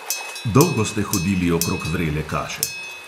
Dolgo ste hodili okrog vrele kaše.